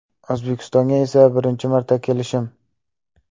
O‘zbekistonga esa birinchi marta kelishim.